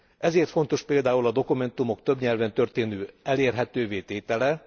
Ezért fontos például a dokumentumok több nyelven történő elérhetővé tétele.